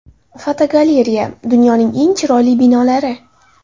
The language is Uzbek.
Fotogalereya: Dunyoning eng chiroyli binolari.